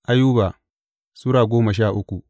Ayuba Sura goma sha uku